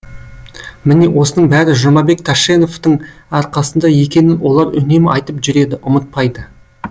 міне осының бәрі жұмабек тәшеновтің арқасында екенін олар үнемі айтып жүреді ұмытпайды